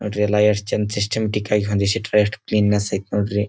ಅದೆಲ್ಲ ಎಸ್ಟ್ ಚೆಂದ ಸಿಸ್ಟಮ್ ಚಿತ್ರ ಎಷ್ಟ್ ಕ್ಲೀನ್ನೆಸ್ ಐತಿ ನೋಡ್ರಿ.